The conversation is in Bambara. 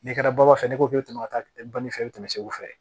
N'i kɛra baafan fɛ ne ko k'e bɛ to ka taa ba ni fɛn tɛmɛ segu fɛ